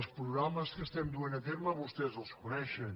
els programes que estem duent a terme vostès els coneixen